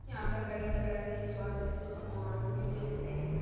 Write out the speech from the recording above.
यहाँ पर कई तरह के स्वादिस्ट पकवान भी मिलते हैं ।